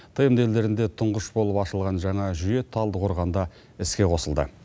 тмд елдерінде тұңғыш болып ашылған жаңа жүйе талдықорғанда іске қосылды